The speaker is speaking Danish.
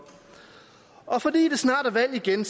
og fordi der snart er valg igen